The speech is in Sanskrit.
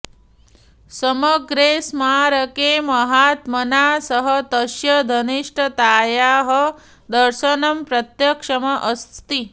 समग्रे स्मारके महात्मना सह तस्य घनिष्ठतायाः दर्शनं प्रत्यक्षम् अस्ति